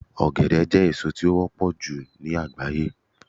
ogede je èso ti o wọpọ ju ni agbaye